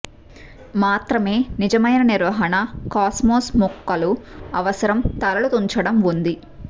మాత్రమే నిజమైన నిర్వహణ కాస్మోస్ మొక్కలు అవసరం తలలు తుంచడం ఉంది